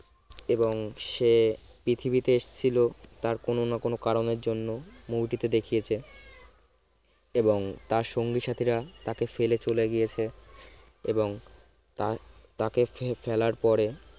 এবং সে পৃথিবীতে এসেছিল তার কোনো না কোনো কারণের জন্য movie টিতে দেখিয়েছে এবং তার সঙ্গী সাথীরা তাকে ফেলে চলে গিয়েছে এবং তাকে ফেলার পরে